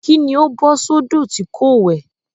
Kí ni ó bọ́ sódò tí kò wẹ̀?